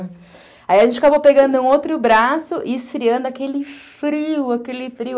Aí a gente acabou pegando um outro braço e esfriando aquele frio, aquele frio.